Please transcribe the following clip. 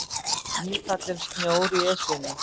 Nýfallinn snjór í Esjunni